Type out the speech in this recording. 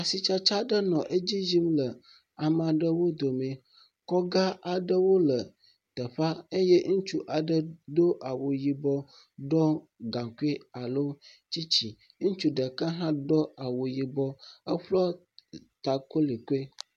Asitsatsa aɖe nɔ edzi ye le ame aɖew dome. Kɔga aɖeɖo le teƒea eye ŋutsu aɖe do awu yibɔ, ɖɔ gakui alo tsitsi. Ŋutsu ɖeka hã do awu yibɔ, eƒlɔ ta kolikoli.